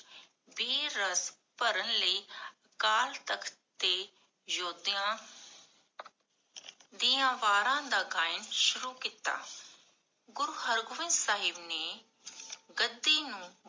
ਬੀਰ ਰਸ ਭਰਨ ਲਈ, ਅਕਾਲ ਤਖ਼ਤ ਦੇ ਯੋਦੇਆਂ ਦੀਆਂ ਵਾਰਾਂ ਦਾ ਗਾਯਨ ਸ਼ੁਰੂ ਕੀਤਾ। ਗੁਰੂ ਹਰ ਗੋਵਿੰਦ ਸਾਹਿਬ ਨੇ ਗੱਦੀ ਨੂੰ